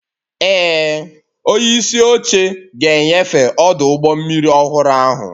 Ee, onyeisi oche ga-enyefe ọdụ ụgbọ mmiri ọhụrụ ahụ